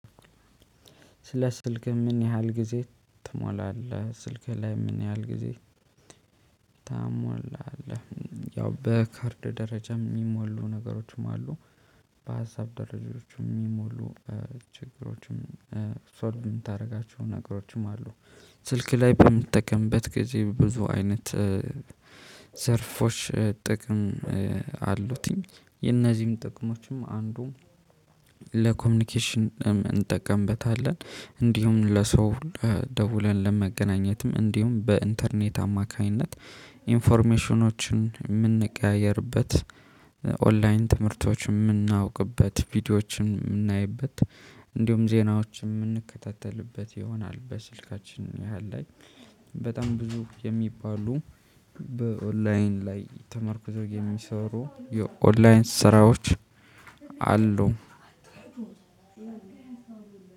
ስለ ስልክህ ምን ያህል ጊዜ ትሞላለህ ስልክህ ላይ ምን ያህል ጊዜ ትሞላለህ? ያው በካርድ ደረጃ የሚሞሉ ነገሮችም አሉ። በሀሳብ ደረጃዎች የሚሞሉ ችግሮችም ሶልቭ የምታደርጋቸው ነገሮችም አሉ። ስልክ ላይ በምትጠቀምበት ጊዜ ብዙ አይነት ዘርፎች ጥቅም አሉትኝ የነዚህም ጥቅሞችም አንዱም ለኮሚኒኬሽን እንጠቀምበታለን። እንዲሁም ለሰው ደውለን ለመገናኘትም እንዲሁም በኢንተርኔት አማካኝነት ኢንፎርሜሽኖችን የምንቀያየርበት ኦንላይን ትምህርቶችን የምናውቅበት ቪዲዮዎችን የምናይበት እንዲሁም ዜናዎችን የምንከታተልበት ይሆናል። በስልካችን ያህል ላይ በጣም ብዙ የሚባሉ በኦንላይን ላይ ተመርኩዘው የሚሰሩ የኦንላይን ስራዎች አሉ።